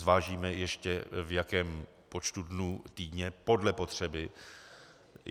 Zvážíme ještě, v jakém počtu dnů týdně, podle potřeby.